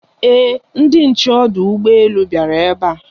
Ee, ndị nche ọdụ ụgbọ elu bịara ebe a.